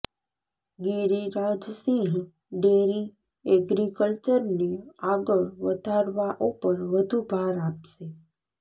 Giriraj Singh dairy એગ્રિકલ્ચરને આગળ વધારવા ઉપર વધુ ભાર આપશે